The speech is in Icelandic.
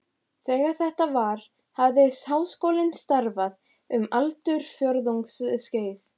Þegar þetta var, hafði Háskólinn starfað um aldarfjórðungs skeið.